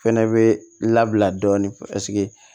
Fɛnɛ bɛ labila dɔɔnin